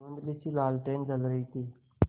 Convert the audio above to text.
धुँधलीसी लालटेन जल रही थी